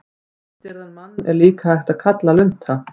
Geðstirðan mann er líka hægt að kalla lunta.